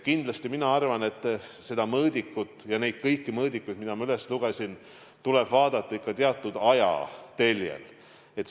Kindlasti mina arvan, et kõiki neid mõõdikuid, mis ma üles lugesin, tuleb vaadata ikka teatud ajateljel.